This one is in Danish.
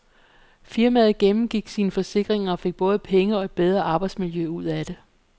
Firmaet gennemgik sine forsikringer og fik både penge og et bedre arbejdsmiljø ud af det.